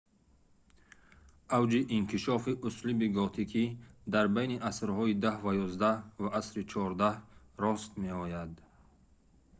авҷи инкишофи услуби готикӣ дар байни асрҳои 10 ва 11 ва асри 14 рост меояд